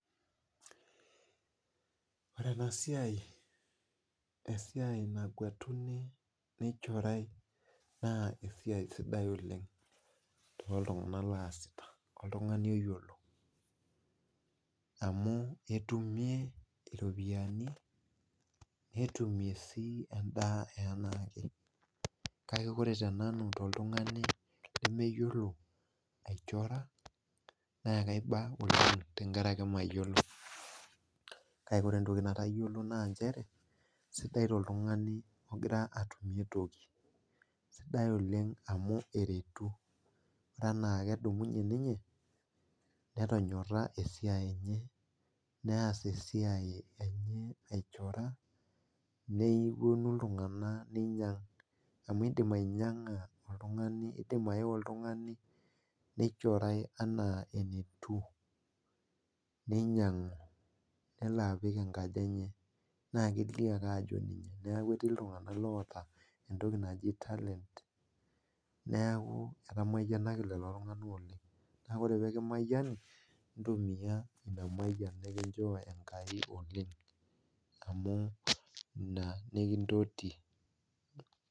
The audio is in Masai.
Ore ena siai esiai naguatini neichorai naa esia sidai oleng oltung'ani oyiolo amu etumie iropiyiani netumie endaa enaake kake ore tenanu toltung'ani lemeyiolo aichora naa sidai toltung'ani ogira atumie toki amu inchere netonyora esiai enye neas esia enye aichors nepuonu iltung'anak amu eidim aei oltung'ani neichorai enaa enatiu nelo apik enkaji enya naa kelio ake ajo ninye neeku etii iltung'anakoota enntoki naji talent naa ore peekimayini intumiya ina mayian nikincho enkai oleng amu ina niki ntoti